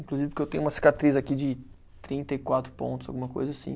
Inclusive porque eu tenho uma cicatriz aqui de trinta e quatro pontos, alguma coisa assim.